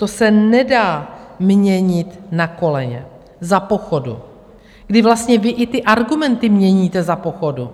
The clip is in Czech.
To se nedá měnit na koleně, za pochodu, kdy vlastně vy i ty argumenty měníte za pochodu,